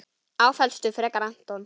Áfellstu frekar Anton.